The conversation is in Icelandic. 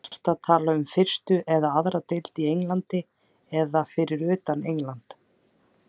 Ertu að tala um fyrstu eða aðra deild í Englandi eða fyrir utan England?